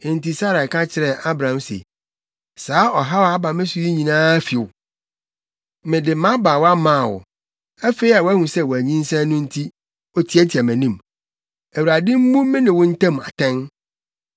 Enti Sarai ka kyerɛɛ Abram se, “Saa ɔhaw a aba me so yi nyinaa fi wo! Mede mʼabaawa maa wo; afei a wahu sɛ wanyinsɛn no nti, otiatia mʼanim. Awurade mmu me ne wo ntam atɛn.”